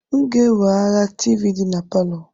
M ga-eweghara tivii dị na palọ.